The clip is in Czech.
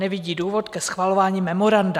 Nevidí důvod ke schvalování memoranda."